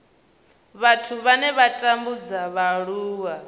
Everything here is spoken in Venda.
vhathu vhane vha tambudza vhaaluwa